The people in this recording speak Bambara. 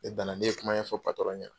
Tile gan na ne ye kuma in ɲɛfɔ patɔrɔn ɲe.